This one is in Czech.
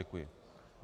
Děkuji.